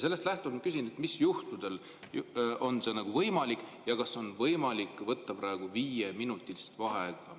Sellest lähtudes küsin, mis juhtudel on see võimalik ja kas on võimalik võtta praegu viieminutilist vaheaega.